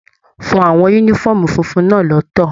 Fọ àwọn yúnífọ̀ọ́mù fúnfún náà lọtọ!